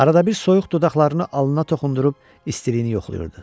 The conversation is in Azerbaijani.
Arada bir soyuq dodaqlarını alnına toxundırıb istiliyini yoxlayırdı.